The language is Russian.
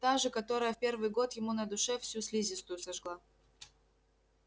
та же которая в первый год ему на душе всю слизистую сожгла